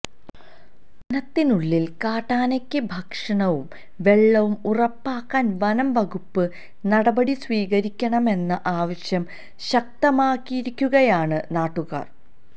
വനത്തിനുള്ളില് കാട്ടനകള്ക്ക് ഭക്ഷണവും വെള്ളവും ഉറപ്പാക്കാന് വനം വകുപ്പ് നടപടി സ്വീകരിക്കണമെന്ന ആവശ്യം ശക്തമാക്കിയിരിക്കുകയാണ് നാട്ടുകാര്